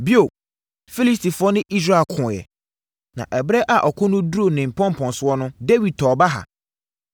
Bio, Filistifoɔ ne Israel koeɛ. Na ɛberɛ a ɔko no duruu ne mpɔmpɔnsoɔ no, Dawid tɔɔ baha.